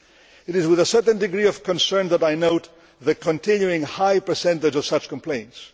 It is with a certain degree of concern that I note the continuing high percentage of such complaints.